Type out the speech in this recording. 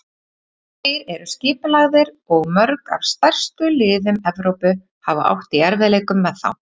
Þeir eru skipulagðir og mörg af stærstu liðum Evrópu hafa átt í erfiðleikum með þá.